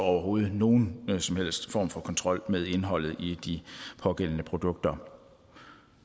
og uden nogen som helst form for kontrol med indholdet i de pågældende produkter